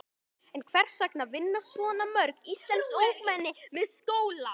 En hvers vegna vinna svona mörg íslensk ungmenni með skóla?